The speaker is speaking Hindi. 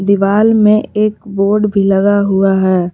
दीवाल में एक बोर्ड भी लगा हुआ है।